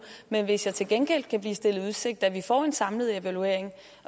men hvis jeg til gengæld kan blive stillet i udsigt at vi får en samlet evaluering